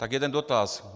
Tak jeden dotaz.